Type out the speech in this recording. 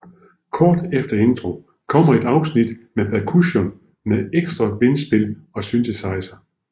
Kort efter intro kommer et afsnit med percussion med ekstra vindspil og synthesizer